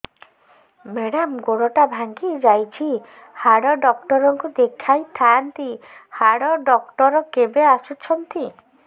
madam ଗୋଡ ଟା ଭାଙ୍ଗି ଯାଇଛି ହାଡ ଡକ୍ଟର ଙ୍କୁ ଦେଖାଇ ଥାଆନ୍ତି ହାଡ ଡକ୍ଟର କେବେ ଆସୁଛନ୍ତି